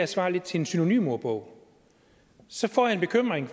svarer til en synonymordbog så får jeg en bekymring